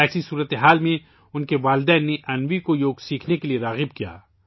ایسی صورت میں ، اس کے والدین نے انوی کو یوگ سیکھنے کے لئے آمادہ کیا